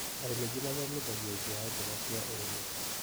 Arĩmi aingĩ mathomithagiao njĩra njega cia ũrĩmi.